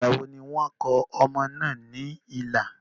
Ìgbàwo ni wọ́n kò ọmọ náà ní ìlà?